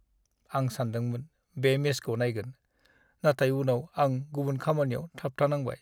आं सानदोंमोन बे मेचखौ नायगोन, नाथाय उनाव आं गुबुन खामानियाव थाबथानांबाय।